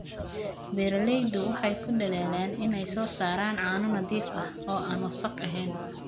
Beeraleydu waxay ku dadaalaan inay soo saaraan caano nadiif ah oo aan wasakh ahayn.